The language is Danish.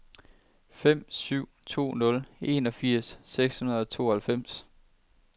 fem syv to nul enogfirs seks hundrede og tooghalvfems